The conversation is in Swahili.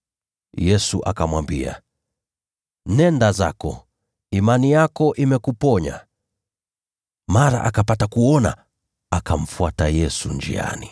Yesu akamwambia, “Nenda zako, imani yako imekuponya.” Mara akapata kuona, akamfuata Yesu njiani.